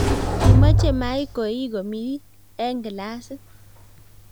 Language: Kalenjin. kimachei my koee komik eng glasit